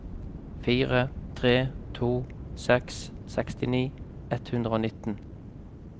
fire tre to seks sekstini ett hundre og nitten